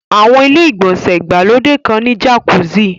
Àwọn ilé-ìgbọ̀nsẹ̀ ìgbàlódé kan ní jàkúsì